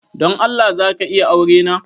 Don Allah za ka iya aurena?